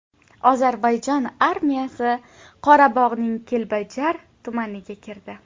Ozarbayjon armiyasi Qorabog‘ning Kelbajar tumaniga kirdi.